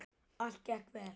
Allt gekk vel.